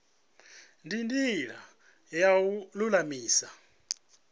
ndi ndila ya u lulamisa